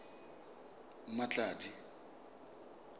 mmatladi